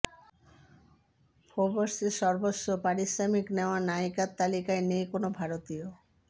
ফোর্বসের সর্বোচ্চ পারিশ্রমিক নেওয়া নায়িকার তালিকায় নেই কোনও ভারতীয়